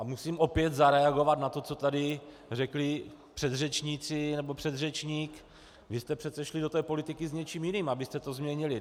A musím opět zareagovat na to, co tady řekli předřečníci nebo předřečník: vy jste přece šli do té politiky s něčím jiným, abyste to změnili.